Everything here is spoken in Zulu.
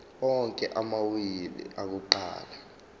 onke amawili akuqala